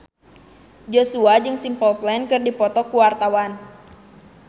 Joshua jeung Simple Plan keur dipoto ku wartawan